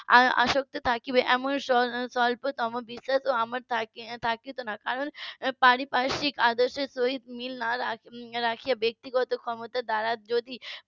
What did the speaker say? আসক্ত থাকবে এমন স্বল্পতম বিশ্বাসও আমার থাকতো না কারণ পারিপার্শিক আদর্শের সহিত মিল না রাখিয়া ব্যাক্তিগত ক্ষমতার দ্বারা যদি